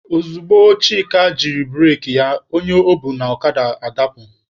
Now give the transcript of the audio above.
Ozugbo Chika jiri bureki ya, onye o bu n'okada adapụ.